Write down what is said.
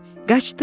Qaçdıq?